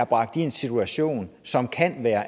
bragt i en situation som kan være